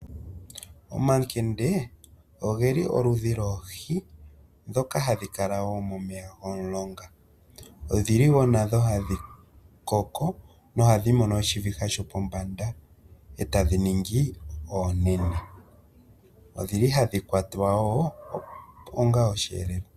Omankende ogeli oludhi lwoohi dhoka hadhi kala momeya gomulonga. Odhili hadhi koko nohadhi mono oshiviha shopombanda etadhi ningi oonene, odhili hadhi kwatwa onga oshiyelelwa.